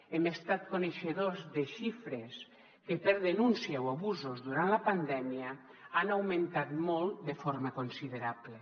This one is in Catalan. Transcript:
hem estat coneixedors de xifres que per denúncia o abusos durant la pandèmia han augmentat molt de forma considerable